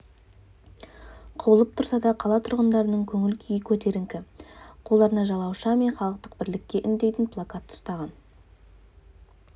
құбылып тұрса да қала тұрғындарының көңіл-күйі көтеріңкі қолдарына жалауша мен халықты бірлікке үндейтін плакат ұстаған